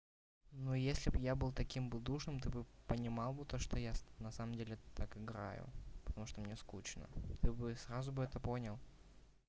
но если бы я был таким будушным ты бы понимал бы то что я на самом деле так играю потому что мне скучно ты бы сразу бы это понял